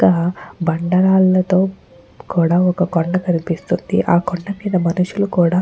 బండరాళ్లతో కూడా ఒక కొండ కనిపిస్తుంది. ఆ కొండ మీద మనుషులు కూడా --